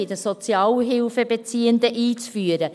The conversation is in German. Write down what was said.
bei den Sozialhilfebeziehenden – einzuführen.